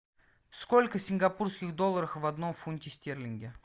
сколько сингапурских долларов в одном фунте стерлингов